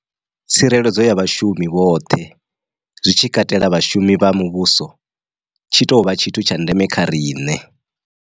Tsireledzo ya vhashumi vhoṱhe, zwi tshi katela vhashumi vha muvhuso, tshi tou vha tshithu tsha ndeme kha riṋe.